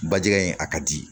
Bajɛgɛ in a ka di